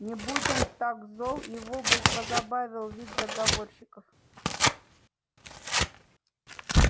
не будь он так зол его бы позабавил вид заговорщиков